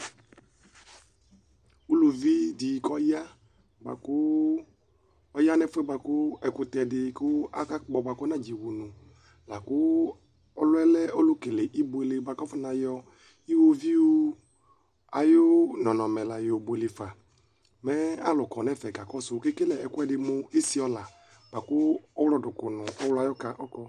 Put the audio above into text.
Ʋlʋvidi kʋ ɔya nʋ ɛfʋ yɛ bʋakʋ ɛkʋtɛdi kʋ akakpɔ bʋakʋ ɔnadze wʋnʋ Lakʋ ɔlʋ yɛ lɛ ɔlʋ kele ibʋele bʋakʋ afɔnayɔ iwoviu ayʋ nɔnɔmɛ labuele fa mɛ alʋkɔnʋ ɛfɛ kakɔsʋ kʋ ekele ɛkʋɛdi mʋ esiɔla bʋakʋ ɔwlɔduklu nʋ ɔwlɔ ayʋ ɔka kɔ